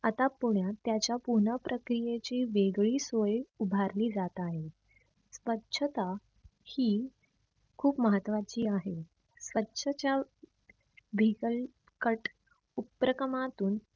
आता पुण्यात त्याच्या पुनः प्रक्रियेची वेगळी सोया उभारली जात आहे. स्वछता ही खूप महत्वाची आहे. स्वछच्या vehicle cut उपराक्रमातून